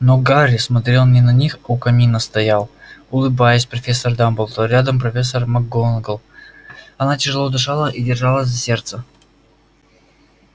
но гарри смотрел не на них у камина стоял улыбаясь профессор дамблдор рядом профессор макгонагалл она тяжело дышала и держалась за сердце